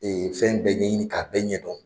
Ee fɛn bɛɛ ɲɛɲini k'a fɛn bɛɛ ɲɛ dɔn!